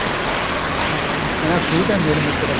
ਹਾਂ ਕਹਿੰਦਾ ਖੂਹ ਤੇ ਮਿਲ ਮਿੱਤਰਾ